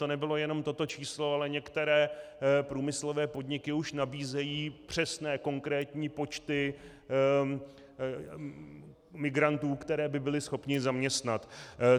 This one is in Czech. To nebylo jen toto číslo, ale které průmyslové podniky už nabízejí přesné konkrétní počty migrantů, které by byly schopny zaměstnat.